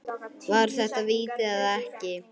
Var þetta víti eða ekki?